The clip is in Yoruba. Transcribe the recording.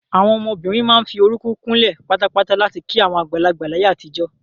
Àwọn ọmọbìnrin máa ń fi orúkún kúnlẹ̀ patapata láti kí àwọn àgbàlagbà láyé àtijọ́.